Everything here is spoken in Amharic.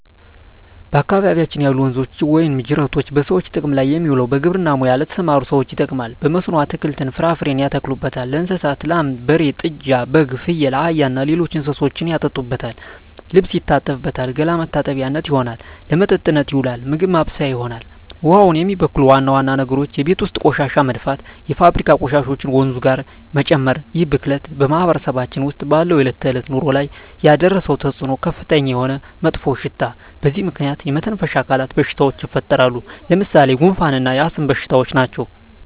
በአካባቢያችን ያሉ ወንዞች ወይም ጅረቶች በሰዎች ጥቅም ላይ የሚውለው በግብርና ሙያ ለተሠማሩ ሠዎች ይጠቅማል። በመስኖ አትክልትን፣ ፍራፍሬ ያተክሉበታል። ለእንስሳት ላም፣ በሬ፣ ጥጃ፣ በግ፣ ፍየል፣ አህያ እና ሌሎች እንስሶችን ያጠጡበታል፣ ልብስ ይታጠብበታል፣ ገላ መታጠቢያነት ይሆናል። ለመጠጥነት ይውላል፣ ምግብ ማብሠያ ይሆናል። ውሃውን የሚበክሉ ዋና ዋና ነገሮች የቤት ውስጥ ቆሻሻ መድፋት፣ የፋብሪካ ቆሻሾችን ወንዙ ጋር መጨመር ይህ ብክለት በማህበረሰባችን ውስጥ ባለው የዕለት ተዕለት ኑሮ ላይ ያደረሰው ተፅኖ ከፍተኛ የሆነ መጥፎሽታ በዚህ ምክንያት የመተነፈሻ አካል በሽታዎች ይፈጠራሉ። ለምሣሌ፦ ጉንፋ እና የአስም በሽታ ናቸው።